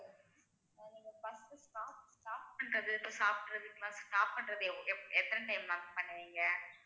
நீங்க first stop stop பன்றது இப்ப சாப்பிடறதுக்கெல்லாம் stop பண்றது எவ்வளவு எத்தனை time ma'am stop பண்ணுவீங்க